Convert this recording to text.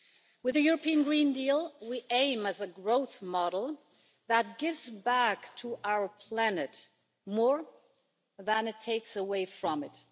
With the European Green Deal we aim at a growth model that gives back to our planet more than it takes away from it.